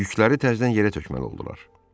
Yükləri təzədən yerə tökməli oldular.